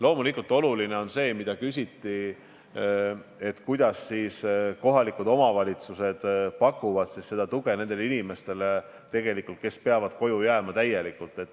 Loomulikult on oluline see, mille kohta küsiti: kuidas kohalikud omavalitsused pakuvad tuge nendele inimestele, kes peavad täiesti koju jääma.